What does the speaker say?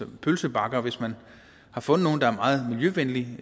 pølsebakker hvis man har fundet nogen der er meget miljøvenlige